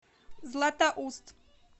златоуст